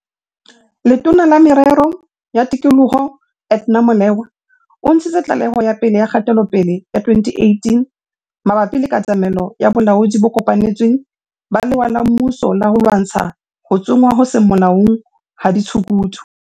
Letona la Merero ya Tikoloho, Edna Molewa, o ntshitse tlaleho ya pele ya kgatelopele ya 2018 mabapi le katamelo ya bolaodi bo kopanetsweng ba lewa la mmuso la ho lwantsha ho tsongwa ho seng molaong ha ditshukudu.